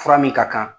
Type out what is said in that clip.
Fura min ka kan